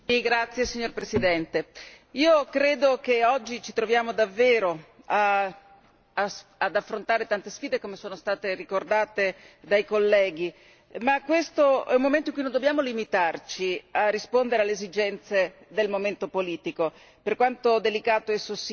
Signor Presidente, onorevoli colleghi, io credo che oggi ci troviamo davvero ad affrontare tante sfide, come è stato ricordato dai colleghi, ma questo è un momento in cui non dobbiamo limitarci a rispondere alle esigenze del momento politico, per quanto delicato esso sia.